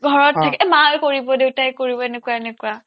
ঘৰত থাকি এই মায়ে কৰিব দেউতাই কৰিব এনেকুৱা এনেকুৱা